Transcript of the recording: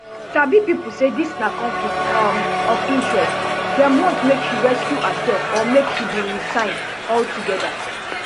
sabi pipo say dis na conflict um of interest dem want make she recuse herserf or make she bin resign altogether